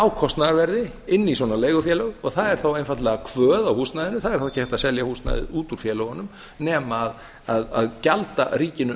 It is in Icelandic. á kostnaðarverði inn í svona leigufélög og það er þá einfaldlega kvöð á húsnæðinu það er þá ekki hægt að selja húsnæðið út úr félögunum nema að gjalda ríkinu